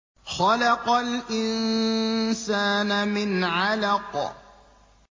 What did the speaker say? خَلَقَ الْإِنسَانَ مِنْ عَلَقٍ